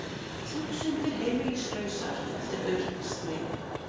Þúsundir heimilislausar eftir aurskriðu